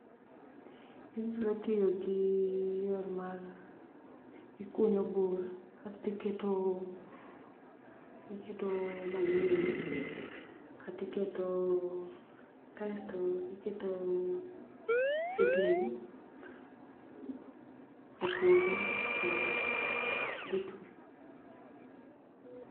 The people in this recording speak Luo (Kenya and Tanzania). Inyalo tiyo gi yor mar ikunyo bur kasto iketo, iketo manyiwa kata iketo, kasto iketo seedling e puodho too dhi twi